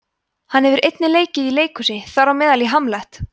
hann hefur einnig leikið í leikhúsi þar á meðal í hamlet